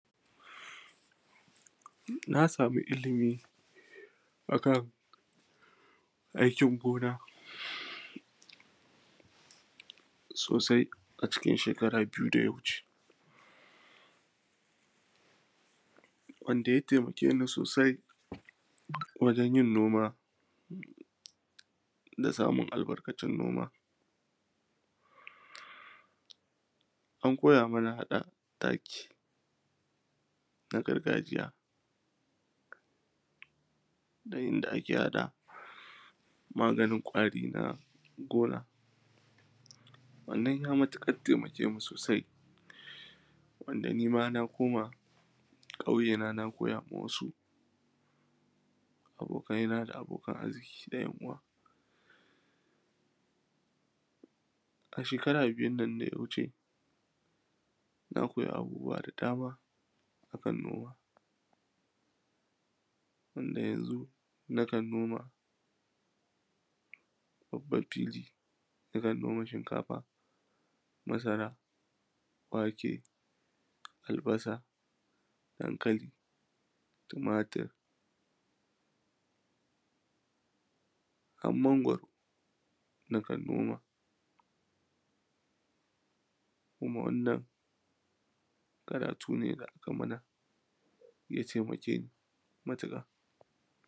Na samu ilimi a kan aikin gona sosai a cikin shekara biyu da ya wuce wanda ya temake ni sosai wajen yin noma da samun albarkacin noma. An koya mana haɗa taki na gargajiya, da yanda ake haɗa maganin ƙwari na gona. Wannan ya matiƙat temake mu sosai, wanda ni ma na koma ƙauyena na koya ma wasu abokaina da abokan arziƙi da ‘yan uwa A shekara biyun nan da ya wuce, na koyi abubuwa da dama a kan noma, wanda yanzu nakan noma babban fili wajen noman shinkafa, masara, wake, albasa, dankali, tumatur, ham mangwaro nakan noma, kuma wannan karatu ne da aka mana ya temake ni matiƙa.